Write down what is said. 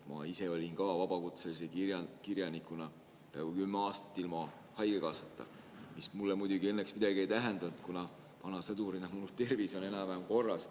Ma ise olin ka vabakutselise kirjanikuna peaaegu kümme aastat ilma haigekassa, mis mulle muidugi õnneks midagi ei tähendanud, kuna olen vana sõdur ja mu tervis on enam-vähem korras.